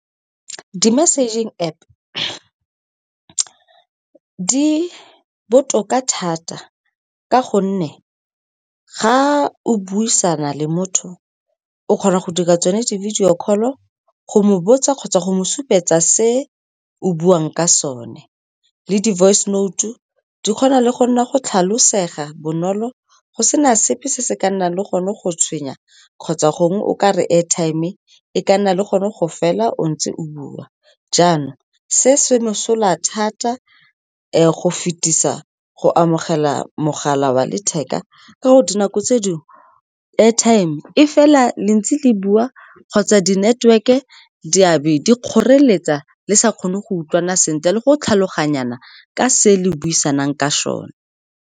Di-messaging App di botoka thata ka gonne ga o buisana le motho, o kgona go di ka tsone di-video call-o, go mo botsa kgotsa go mo supetsa se o buang ka sone. Le di-voice note-u di kgona le go nna go tlhalosega bonolo, go sena sepe se se ka nnang le gone go tshwenya kgotsa gongwe o ka re airtime e ka nna le gone go fela o ntse o bua. Jaanong, se se mosola thata go fetisa go amogela mogala wa letheka, ka gore dinako tse dingwe airtime e fela le ntse le bua, kgotsa di-network-e di a be di kgoreletsa, le sa kgone go utlwana sentle le go tlhaloganyana ka se le buisang ka sone.